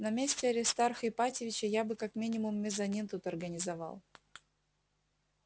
на месте аристарха ипатьевича я бы как минимум мезонин тут организовал